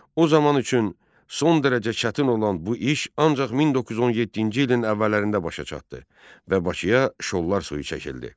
O zaman üçün son dərəcə çətin olan bu iş ancaq 1917-ci ilin əvvəllərində başa çatdı və Bakıya şollar suyu çəkildi.